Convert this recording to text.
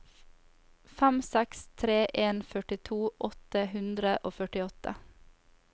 fem seks tre en førtito åtte hundre og førtiåtte